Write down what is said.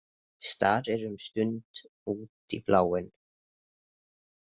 Starir um stund út í bláinn.